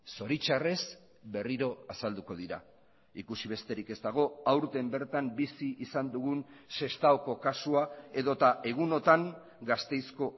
zoritxarrez berriro azalduko dira ikusi besterik ez dago aurten bertan bizi izan dugun sestaoko kasua edota egunotan gasteizko